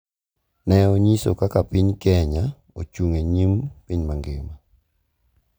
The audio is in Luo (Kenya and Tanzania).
Ne onyiso kaka piny Kenya ochung’ e nyim piny mangima